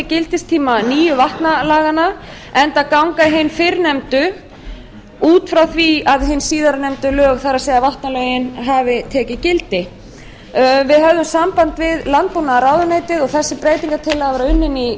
gildistíma nýju vatnalaganna enda ganga hin fyrrnefndu út frá því að hin síðarnefndu lög það er vatnalögin hafi tekið gildi við höfðum samband við landbúnaðarráðuneytið og þessi breytingartillaga var unnin í